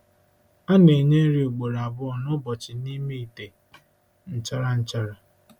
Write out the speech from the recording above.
A na-enye nri ugboro abụọ n'ụbọchị n'ime ite nchara nchara.